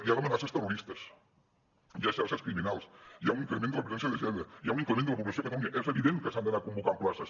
hi han amenaces terroristes hi ha xarxes criminals hi ha un increment de la violència de gènere hi ha un increment de la població a catalunya és evident que s’han d’anar convocant places